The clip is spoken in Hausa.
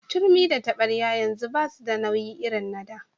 Turmi da taɓaryar yanzu basu da nauyi irin na da.